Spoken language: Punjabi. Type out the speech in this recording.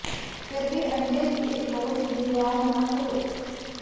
ਫਿਰ ਵੀ ਅੰਡੇ ਦੀ ਇੱਕ ਬਹੁਤ ਦੁਰਵਿਵਹਾਰ ਨਾ ਕਰੋ